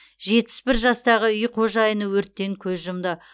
жетпіс бір жастағы үй қожайыны өрттен көз жұмды